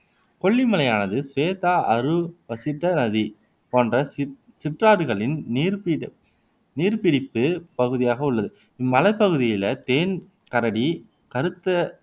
கொல்லி மலையானது சுவேதா அறு வசிட்ட நதி போன்ற சிற்றாறுகளின் நீர்பிடிப்புப் பகுதியாக உள்ளது. இம்மலைப் பகுதியில தேன் கரடி கருத்த